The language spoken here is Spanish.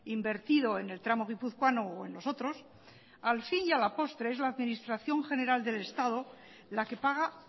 invertido en el tramo guipuzcoano o en los otros al fin y a la postre es la administración general del estado la que paga